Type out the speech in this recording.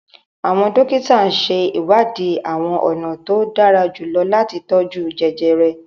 Awọn dókítà n ṣe iwadi awọn ọna to dara julọ lati tọju jẹjẹrẹ